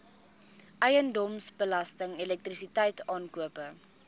eiendomsbelasting elektrisiteit aankope